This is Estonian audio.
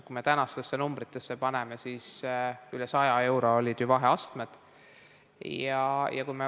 Kui me tänastesse numbritesse paneme, siis üle 100 euro olid ju vaheastmed.